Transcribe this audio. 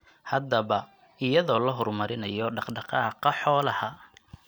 Haddaba, iyadoo la horumarinayo dhaq-dhaqaaqa xoolaha.